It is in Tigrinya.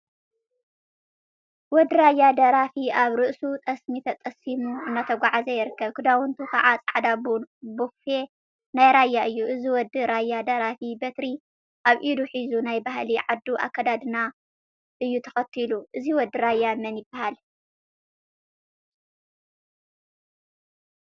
ወዲ ራያ ደራፊ አብ ርእሱ ጠስሚ ተጠሲሚ እናተጓዓዘ ይርከብ፡፡ ክዳውንቱ ከዓ ፃዕዳ ቡፌ ናይ ራያ እዩ፡፡ እዚ ወዲ ራያ ደራፊ በትሪ አብ ኢዱ ሒዙ ናይ ባህሊ ዓዱ አከዳድና እዩ ተከቲሉ፡፡ እዚ ወዲ ራያ መን ይበሃል?